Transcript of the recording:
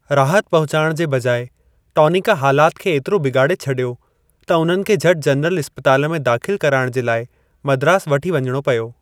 राहत पहुचाइणु जे बजाइ टॉनिक हालात खे एतिरो बिगाड़े छडि॒यो त उन्हनि खे झटि जनरल इस्पताल में दाख़िलु कराइण जे लाइ मद्रास वठी वञिणो पियो।